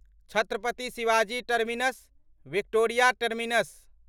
Chhatrapati Shivaji Terminus Victoria terminus